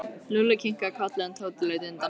Lúlli kinkaði kolli en Tóti leit undan.